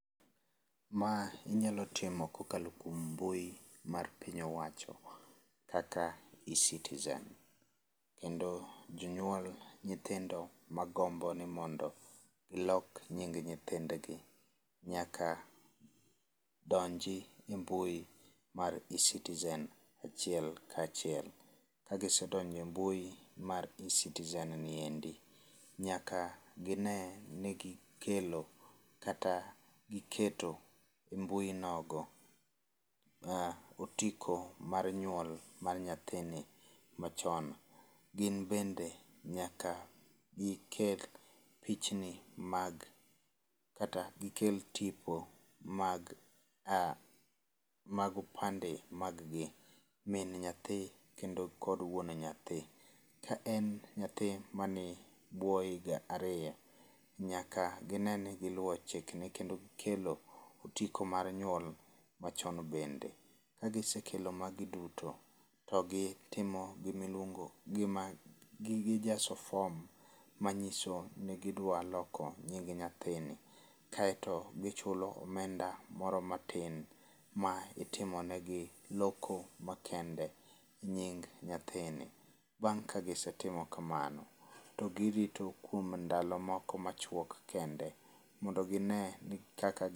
Ma inyalo timo kokalo kuom mbui mar piny owacho mar eCitizen. Kendo jonyuol nyithindo magombo ni mondo gilok nying gi nyaka donji e mbui mar eCitizen achiel kachiel. Ka gisedonjo e mbui mar eCitizen ni endi, nyaka gine ni gikelo kata giketo e mbui nogo otiko mar nyuol mar nyathini machon. Gin bende nyaka gikel pichni mag kata gikel tipo mag a mag opande mag gi. Min nyathi kendo kod wuon nyathi. Ka en nyathi man ebwol higa ariyo nyaka gine ni giluwo chikni kendo gikelo otiko mar nyuol machon bende. Ka gisekelo magi duto to gitimo gimiluongo gima gijaso fom, manyiso ni gidwa loko nying nyathini kaeto gichulo omenda moro matin ma itimonegi loko makende nying nyathini. Bang' ka gisetimo kamano to girito kuom ndalo moko machuok kende mondo gine ni kaka